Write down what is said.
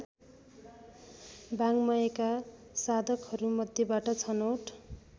वाङ्मयका साधकहरूमध्येबाट छनौट